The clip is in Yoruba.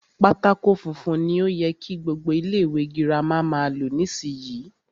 Pátákó funfun ni o yẹ kí gbogbo ilé ìwé girama máa lò nísìyí.